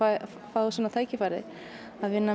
fá svona tækifæri að vinna